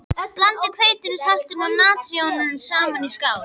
Blandið hveitinu, saltinu og natroninu saman í skál.